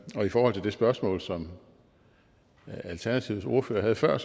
og i forhold til det spørgsmål som alternativets ordfører havde før